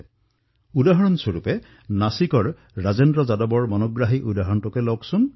যিদৰে নাছিকৰ ৰাজেন্দ্ৰ যাদৱৰ উদাহৰণ অতিশয় আকৰ্ষণীয় হৈছে